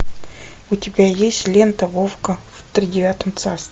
у тебя есть лента вовка в тридевятом царстве